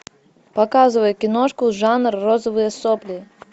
показывай киношку жанр розовые сопли